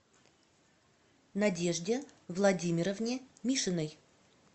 надежде владимировне мишиной